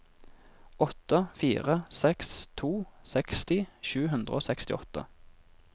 åtte fire seks to seksti sju hundre og sekstiåtte